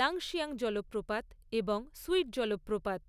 লাংশিয়াং জলপ্রপাত এবং সুইট জলপ্রপাত।